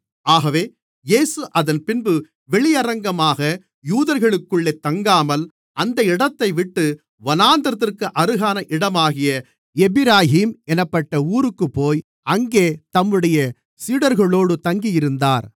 ஆகவே இயேசு அதன்பின்பு வெளியரங்கமாக யூதர்களுக்குள்ளே தங்காமல் அந்த இடத்தைவிட்டு வனாந்திரத்திற்கு அருகான இடமாகிய எப்பிராயீம் என்னப்பட்ட ஊருக்குப்போய் அங்கே தம்முடைய சீடர்களோடு தங்கியிருந்தார்